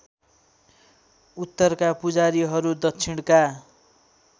उत्तरका पुजारीहरू दक्षिणका